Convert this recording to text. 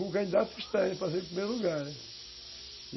Um candidato estranho, eu passei em primeiro lugar.